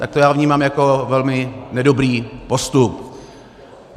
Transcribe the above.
Tak to já vnímám jako velmi nedobrý postup.